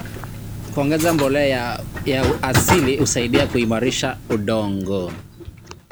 Kuongeza mbolea ya asili husaidia kuimarisha udongo.